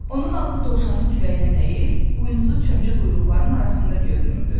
Onun ağzı dovşanın kürəyinə dəyir, buynuzu çömçə quyruqlarının arasında görünürdü.